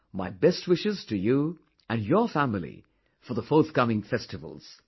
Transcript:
My best wishes to you and your family for the forthcoming festivals